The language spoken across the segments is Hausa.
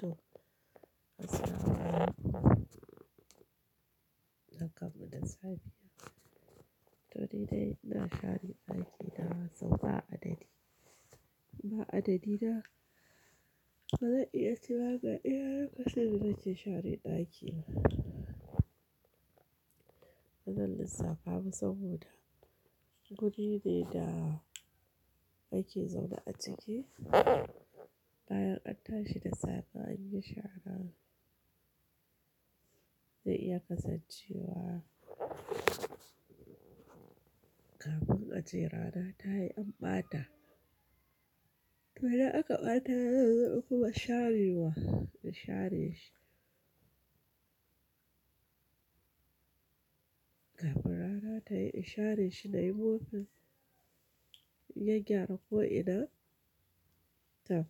To, assalama alaikum. Bar kanmuda safe. To ni dai ina share ɗakina sau ba adadi. Ba adadi na bazan iya tina ga iya lokacin da ke share ɗaki. Bazan lissafa ba saboda guri ne da ake zaune a ciki. Bayan anta shi da safe an yi shara zai iya kasancewa kafin a jirana ta yi an ɓata. To idan aka ɓata zan zo in kuma sharewa in share shi. Kafin rana ta yi in share shi na yi mopin in gyaggyara ko ina. To.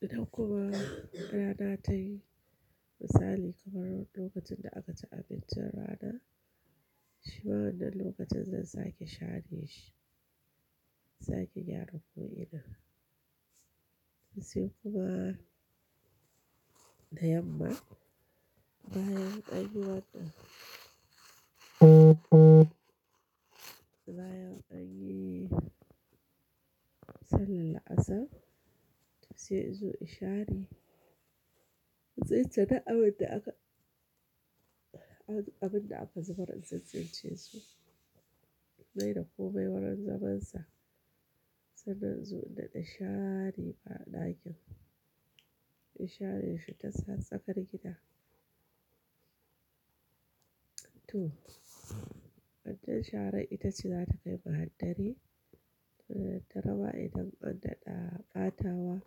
Idan kuma rana ta yi misali kamar lokacin da aka ci abincin rana, shi ma wannan lokacin zan sake share shi. Sake gyara ko ina. To sai kuma da yamma bayan anyi wanan bayan anyi sallar la'asar to sai in zo in share. Tsince duk abin da aka, abin da aka zubar in tsintsince su. Mai da komai wurin zaman sa sannan inzo daɗa share ba ɗakin. In share shi ta sa tsakar gida. To, wancan sharar ita shi za ta kai mu har dare. Da daddare ma dan an daɗa ɓatawa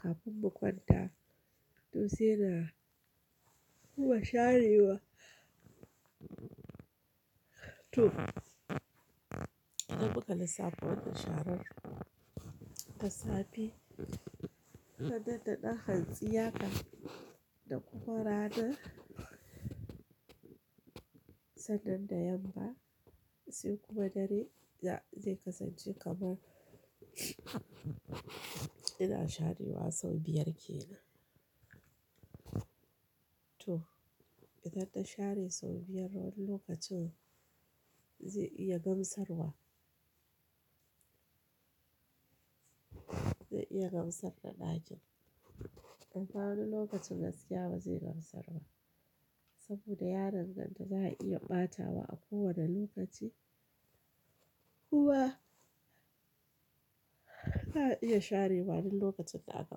kafin mu kwanta to sai na kuma sharewa. To, idan muka lissafo wancan sharar da safe, ta dan da ɗan hantsi haka da kuma rana sannan da yamma sai kuma dare za zai kasance kamar ina sharewa sau biyar kenan. To, idan na share sau biyar wannan lokacin zai iya gamsarwa. Zai iya gamsar da ɗakin. Amma wani lokacin gaskiya ba zai gamsar ba saboda yaron nan da za a iya ɓatawa a kowane lokaci kuwa ba iya share ba wani lokacin da aka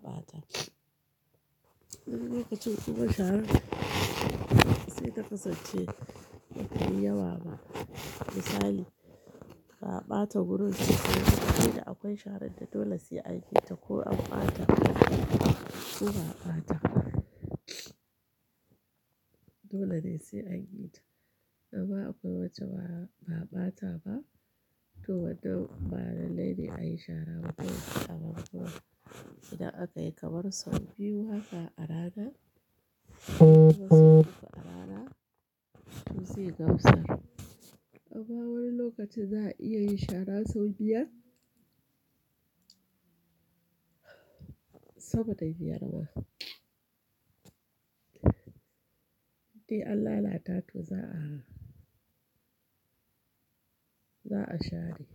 ɓata. Wani lokacin kuma sharar sai ta kasance ba tai yawa ba. Misali ka ɓata gurin sai da akwai sharar da dole sai an yi ta ko an ɓata ko ba a ɓata. Dole ne sai an yi ta. Amma akwai wajen ba a ɓata ba to wadannan ba na laifi a yi shara wancan a banɗaki. Idan aka yi kamar sau biyu haka a rana to sai duka a rana to zai gamsar. Amma wani lokacin za a iya yin shara sau biyar saboda ya biyar ma. Idan Allah ya tafi za a, za a share.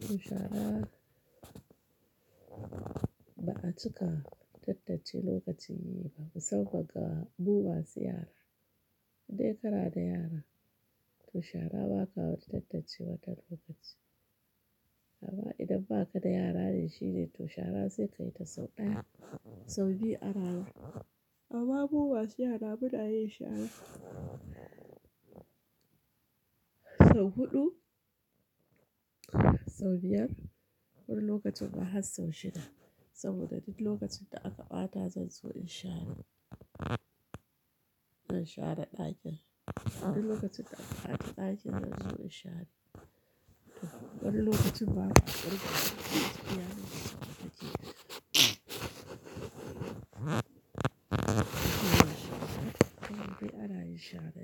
To shara ba a cika tattace lokacin yi ba saboda ka bu wasu yara. Idan ka na da yara to shara ba ka tattace watan lokaci. Amma idan ba ka da yara shine to shara sai ka yi ta sau ɗaya, sau biyu a rana. Amma bu wasu yara muna yin shara sau huɗu, sau biyar wani lokacin ma har sau shida saboda duk lokacin da aka ɓata zan zo in share. Zan share ɗakin. Wani lokacin da aka ɓata ɗakin zan zo in share. To wani lokacin ba a ɓarke ba sai yaron ya sauka ciki. To kuma sai sai kuma sai a yi shara.